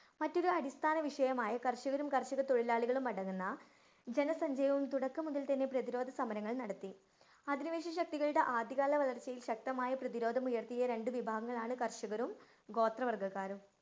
മറ്റൊരു അടിസ്ഥാന വിഷയമായ കര്‍ഷകരും, കര്‍ഷകതൊഴിലാളികളും അടങ്ങുന്ന ജനസഞ്ചയവും തുടക്കം മുതല്‍ തന്നെ പ്രതിരോധസമരങ്ങള്‍ നടത്തി. അധിനിവേശശക്തികളുടെ ആദ്യകാല വളര്‍ച്ചയില്‍ ശക്തമായ പ്രതിരോധമുയര്‍ത്തിയ രണ്ടു വിഭാഗങ്ങളാണ് കര്‍ഷകരും, ഗോത്രവർഗ്ഗക്കാരും